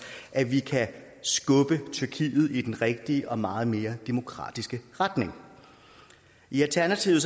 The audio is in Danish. at vi kan skubbe tyrkiet i den rigtige og meget mere demokratiske retning i alternativet